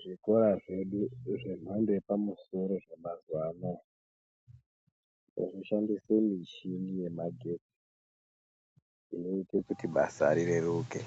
Zvikora zvedu zvemhando yepamusoro zvemazuwa anaya, ngazvishandise michini yemagetsi, inoite kuti basa rireruke.